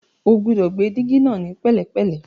O gbúdọ̀ gbé dígí náà ní pẹ̀lẹ́pẹ̀lẹ́.